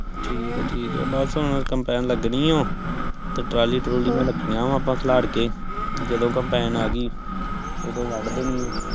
ਠੀਕ ਆ ਠੀਕ ਆ ਬਸ ਹੁਣ ਕੋਪੇ ਲੱਗਣੀ ਆ ਤੇ ਟਰਾਲੀ ਤਰੁਲੀ ਵੀ ਰੱਖੀ ਆ ਆਪ ਖਲਾਰ ਕੇ ਤੇ ਜਦੋ ਕੰਪੈਨ ਆ ਗਈ ਓਦੋ ਵੱਧ ਦੇਣੀ ਆ